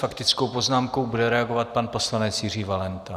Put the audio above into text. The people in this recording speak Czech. Faktickou poznámkou bude reagovat pan poslanec Jiří Valenta.